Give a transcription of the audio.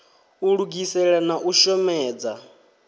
u lugisela na u shomedza